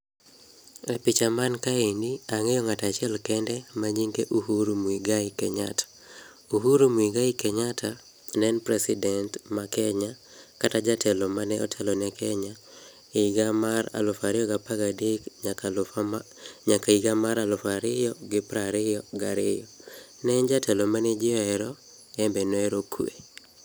E picha mankaeni, ang'eyo ng'at achiel kende ma nyinge en Uhuru Mwigai Kenyatta. Uhuru Mwigai Kenyatta neen president ma Kenya, kata jatelo manotelo ne Kenya e higa mar aluf ario gapagadek nyaka aluf ama nyaka higa mar aluf ario gi prario gario. Neen jatelo mane jii oero, embe noero kwe.